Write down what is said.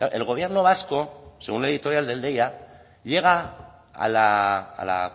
el gobierno vasco según la editorial del deia llega a la